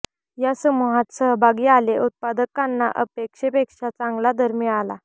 या समूहात सहभागी आले उत्पादकांना अपेक्षेपेक्षा चांगला दर मिळाला